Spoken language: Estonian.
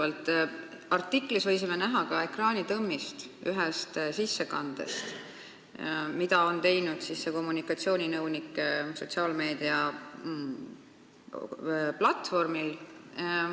Selles artiklis võisime näha ka ekraanitõmmist ühest sissekandest, mille on teinud see kommunikatsiooninõunik sotsiaalmeedia platvormil.